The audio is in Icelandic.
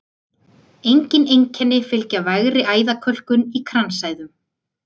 Engin einkenni fylgja vægri æðakölkun í kransæðum.